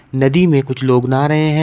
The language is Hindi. नदी में कुछ लोग नहा रहे हैं।